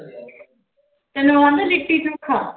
ਤੈਨੂੰ ਉਹ ਆਉਂਦਾ ਲਿੱਟੀ ਚੋਖਾ।